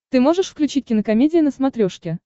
ты можешь включить кинокомедия на смотрешке